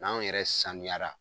N'anw yɛrɛ sanuyara